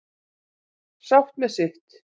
Sátt með sitt